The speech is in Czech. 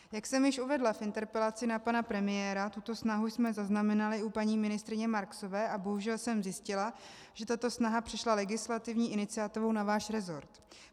Jak jsem již uvedla v interpelaci na pana premiéra, tuto snahu jsme zaznamenali u paní ministryně Marksové a bohužel jsem zjistila, že tato snaha přešla legislativní iniciativou na váš resort.